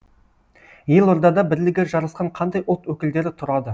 елордада бірлігі жарасқан қандай ұлт өкілдері тұрады